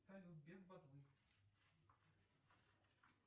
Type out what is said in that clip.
салют без ботвы